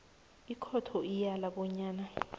ikhotho iyala bonyana